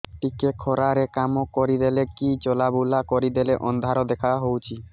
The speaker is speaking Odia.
ଟିକେ ଖରା ରେ କାମ କରିଦେଲେ କି ଚଲବୁଲା କରିଦେଲେ ଅନ୍ଧାର ଦେଖା ହଉଚି